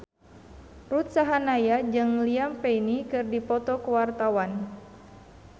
Ruth Sahanaya jeung Liam Payne keur dipoto ku wartawan